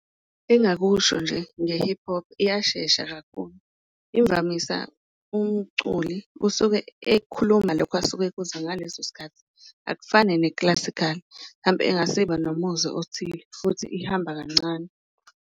Engakusho nje nge-hip hop iyashesha kakhulu, imvamisa umculi usuke ekhuluma lokhu asuke ekuzwa ngaleso sikhathi, akufani ne-classical engasibe nomuzwa othile futhi ihamba kancane.